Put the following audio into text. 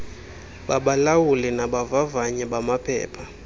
babalawuli nabavavanyi bamaphepha